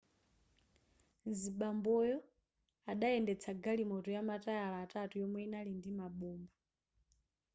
mzibamboyo adayendetsa galimoto yamatayala atatu yomwe yinali ndi mabomba